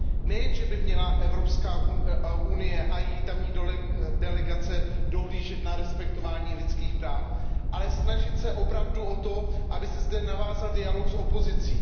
Nejen že by měla Evropská unie a její tamní delegace dohlížet na respektování lidských práv, ale snažit se opravdu o to, aby se zde navázal dialog s opozicí.